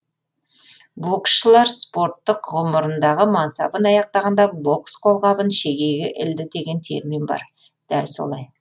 боксшылар спорттық ғұмырындағы мансабын аяқтағанда бокс қолғабын шегеге ілді деген термин бар дәл солай